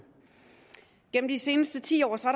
gennem de seneste ti år